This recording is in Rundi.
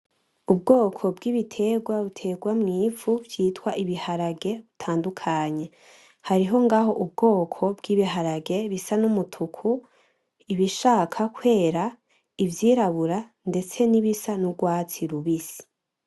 Ubwoko bw'ibitegwa bitegwa mw'ivu vyitwa ibiharage bitandukanye. Hariho ngaho ubwoko bw'ibiharage bisa n'umutuku, ibishaka kwera, ivyirabura ndetse n'ibisa n'ugwatsi rubisi.